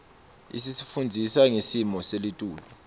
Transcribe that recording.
isifundzisa ngesimo selitulu